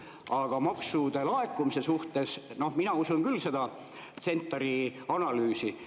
Aga maksude laekumise puhul mina usun küll seda CentAR‑i analüüsi.